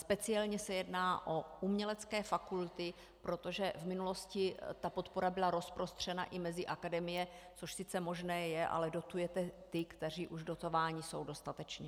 Speciálně se jedná o umělecké fakulty, protože v minulosti ta podpora byla rozprostřena i mezi akademie, což sice možné je, ale dotujete ty, kteří už dotováni jsou dostatečně.